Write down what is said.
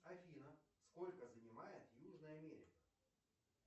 афина сколько занимает южная америка